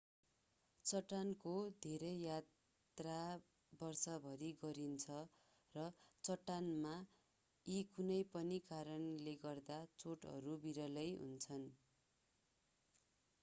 चट्टानको धेरै यात्रा वर्षभरि गरिन्छ र चट्टानमा यी कुनै पनि कारणले गर्दा चोटहरू विरलै हुन्छन्